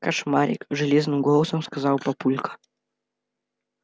кошмарик железным голосом сказал папулька